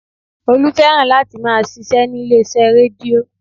Olú fẹ́ràn láti máa ṣíṣe nílé iṣẹ́ rédíó